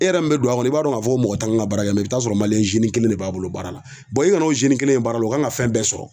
E yɛrɛ min be don a kɔnɔ i b'a dɔn ŋ'a fɔ ko mɔgɔ t'an' ŋa baara kɛ i bi taa'a sɔrɔ kelen de b'a bolo baara la. i kan'o kelen ye baara la o kan ŋa fɛn bɛɛ sɔrɔ.